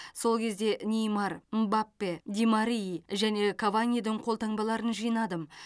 сол кезде неймар мбаппе ди марии және каванидің қолтаңбаларын жинадым